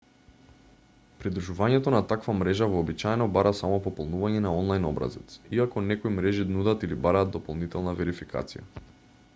придружувањето на таква мрежа вообичаено бара само пополнување на онлајн-образец иако некои мрежи нудат или бараат дополнителна верификација